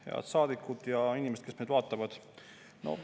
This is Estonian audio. Head saadikud ja inimesed, kes meid vaatavad!